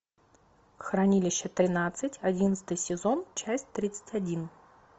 хранилище тринадцать одиннадцатый сезон часть тридцать один